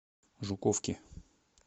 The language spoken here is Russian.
жуковки